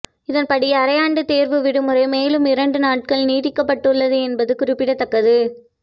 இதன்படி அரையாண்டு தேர்வு விடுமுறை மேலும் இரண்டு நாட்கள் நீட்டிக்கப்பட்டுள்ளது என்பது குறிப்பிடத்தக்கது